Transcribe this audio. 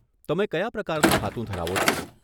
તમે કયા પ્રકારનું ખાતું ધરાવો છો?